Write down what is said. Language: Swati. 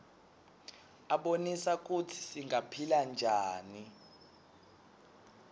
abonisa kutsi singaphila njani